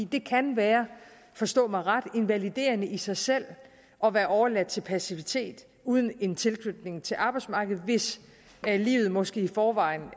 det kan være forstå mig ret invaliderende i sig selv at være overladt til passivitet uden en tilknytning til arbejdsmarkedet hvis livet måske i forvejen